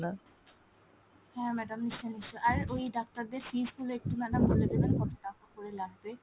হ্যাঁ madam নিশ্চই নিশ্চই আর ওই ডাক্তারদের fees গুলো একটু madam বলে দিবেন কতটাকা করে লাগবে ?